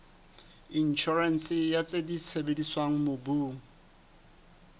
inshorense ya tse sebediswang mobung